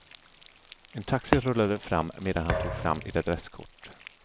En taxi rullade fram medan han tog fram ett adresskort.